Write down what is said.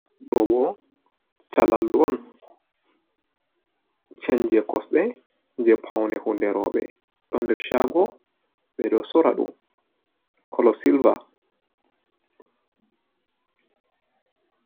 Ɗobo Shalallu'on, Chen je Kosɗe je Paune Hunde Rouɓe ɗon nder Chago ɓeɗo Sorraɗum Kolo Silva.